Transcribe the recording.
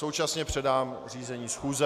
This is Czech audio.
Současně předám řízení schůze.